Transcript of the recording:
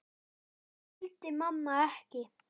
Það skildi mamma ekki.